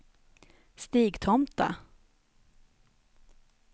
Stigtomta